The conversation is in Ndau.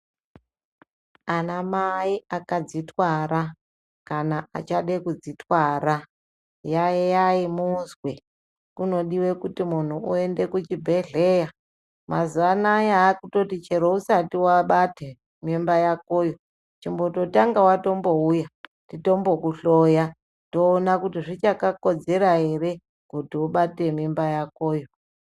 Anamai akadzitwara kana achade kudzitwara, yaiyai muzwe! Kunodiwe kuti munhu uende kuchibhedhleya. Mazuwa anaya vakutoti chero usati wabata mimba yakoyo, chimbototanga watombouya titombokuhloya toona kuti zvichakakodzera ere kuti ubate mimba yakoyo.